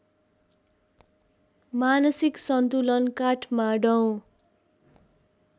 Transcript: मानसिक सन्तुलन काठमाडौँ